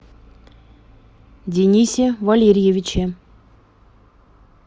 денисе валерьевиче